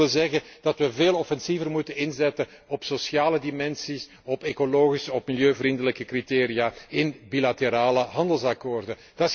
Dat wil zeggen dat we veel offensiever moeten inzetten op sociale dimensies, op ecologische, op milieuvriendelijke criteria in bilaterale handelsakkoorden.